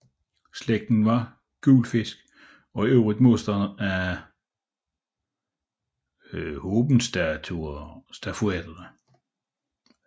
Slægten var guelfisk og ivrige modstandere af Hohenstauferne